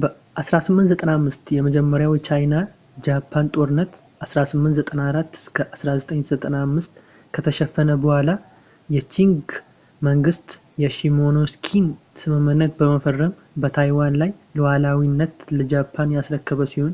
በ 1895 የመጀመሪያው የቻይና-ጃፓን ጦርነት 1894-1895 ከተሸነፈ በኋላ የቺንግ መንግስት የሺሞኖስኪን ስምምነት በመፈረም በታይዋን ላይ ሉዓላዊነትን ለጃፓን ያስረከበ ሲሆን